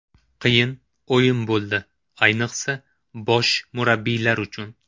Qiyin o‘yin bo‘ldi, ayniqsa bosh murabbiylar uchun.